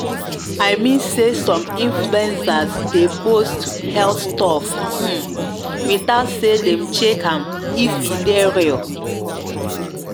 i mean say some influenzas dey post health stuff hmm without say dem check am if e dey real.